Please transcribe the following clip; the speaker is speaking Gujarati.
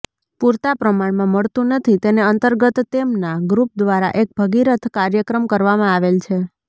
પૂરતા પ્રમાણમાં મળતુ નથી તેને અંતર્ગત તેમના ગ્રુપ દ્વારા એક ભગીરથ કાર્યક્રમ કરવામાં આવેલ છે